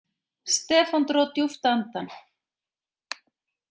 Stefán dró djúpt andann.